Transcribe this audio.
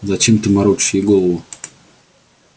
зачем ты морочишь ей голову